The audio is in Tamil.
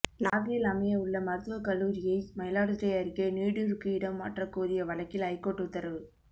நாகையில் அமைய உள்ள மருத்துவக் கல்லூரியை மயிலாடுதுறை அருகே நீடுருக்கு இடம் மாற்ற கோரிய வழக்கில் ஐகோர்ட் உத்தரவு